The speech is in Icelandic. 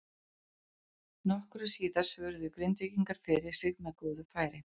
Nokkru síðar svöruðu Grindvíkingar fyrir sig með góðu færi.